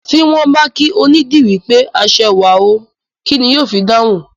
Tí wọ́n bá kí onídìrí pé aṣẹwà o, kín ni yó fi dáhùn?